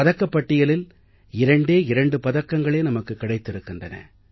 பதக்கப்பட்டியலில் இரண்டே இரண்டு பதக்கங்களே நமக்கு கிடைத்திருக்கின்றன